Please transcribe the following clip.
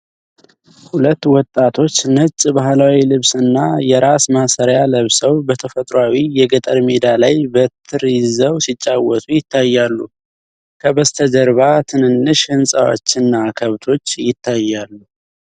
ሁለት ወጣቶች ነጭ ባህላዊ ልብስና የራስ ማሰሪያ ለብሰው፣ በተፈጥሯዊ የገጠር ሜዳ ላይ በትር ይዘው ሲጫወቱ ይታያሉ። ከበስተጀርባ ትንንሽ ሕንፃዎችና ከብቶች ይታያሉ።